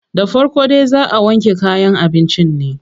Da farko dai zaa a wanke kayan abincin ne.